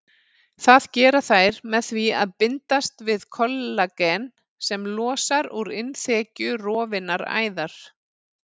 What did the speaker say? Það gera þær með því að bindast við kollagen sem losnar úr innþekju rofinnar æðar.